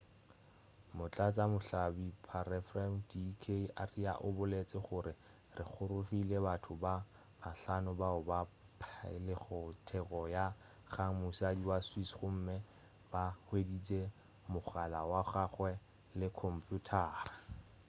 motlatša mohlahlobi-pharephare d k arya o boletše gore re golegile batho ba bahlano bao ba phailego theto ka kgang mosadi wa swiss gomme ba hweditše mogala wa gagwe le khomphuthara